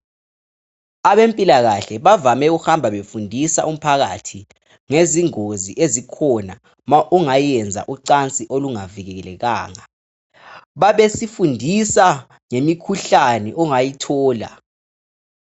Abempilakahle bavame ukuhamba befundisa umphakathi ngezingozi ezikhona nxa ungayenza ucansi olungavikelanga. Bazesifundisa ngemikhuhlane ongayithola.